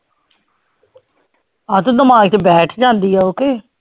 ਆ ਤੋਂ ਦਿਮਾਗ ਚ ਬੈਠ ਜਾਂਦੀ ਆ ਓ ਕੇ